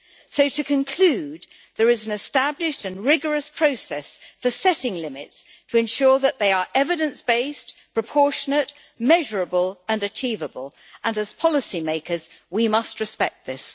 So, to conclude, there is an established and rigorous process for setting limits to ensure that they are evidence based, proportionate, measurable and achievable, and as policymakers we must respect this.